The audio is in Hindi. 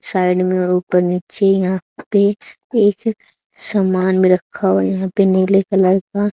साइड में और ऊपर नीचे यहां पे एक सामान भी रखा हुआ है यहां पे नीले कलर का--